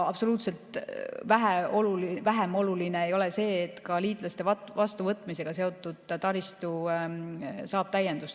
Vähem oluline ei ole see, et ka liitlaste vastuvõtmisega seotud taristu saab täiendust.